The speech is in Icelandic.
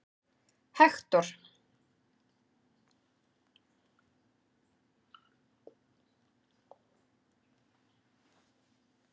Hektor